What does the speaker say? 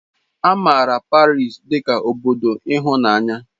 A maara Paris dị ka obodo ịhụnanya.